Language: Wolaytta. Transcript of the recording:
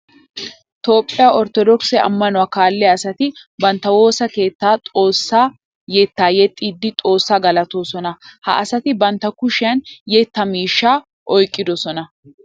Toophphiya orttodookise amanuwa kaalliya asatti bantta woosa keettan xoosa yetta yexxidde xoosa galatosonna. Ha asatti bantta kushiyan yetta miishsha oyqqidosonna.